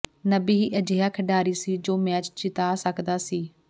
ਨਬੀ ਹੀ ਅਜਿਹਾ ਖਿਡਾਰੀ ਸੀ ਜੋ ਮੈਚ ਜਿਤਾ ਸਕਦਾ ਸੀ